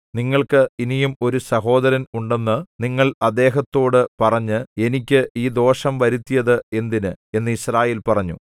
നിങ്ങൾക്ക് ഇനിയും ഒരു സഹോദരൻ ഉണ്ടെന്ന് നിങ്ങൾ അദ്ദേഹത്തോടു പറഞ്ഞ് എനിക്ക് ഈ ദോഷം വരുത്തിയത് എന്തിന് എന്നു യിസ്രായേൽ പറഞ്ഞു